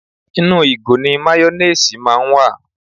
Inú ìgò ni máyónéèsì máa ń wà